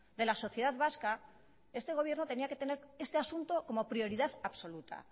de la sociedad vasca este gobierno tenía que tener este asunto como prioridad absoluta